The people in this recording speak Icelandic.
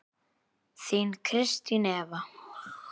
Þín Kristín Eva.